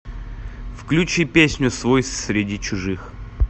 включи песню свой среди чужих